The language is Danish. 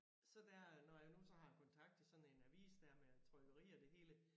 Så der når jeg nu så har kontakt til sådan en avis der med trykkeri og det hele